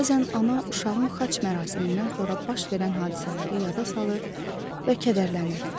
Bəzən ana uşağın xaç mərasimindən sonra baş verən hadisələri yada salır və kədərlənirdi.